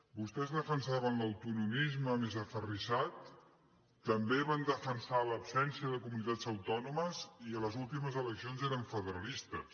vostès defensaven l’autonomisme més aferrissat també van defensar l’absència de comunitats autònomes i a les últimes eleccions eren federalistes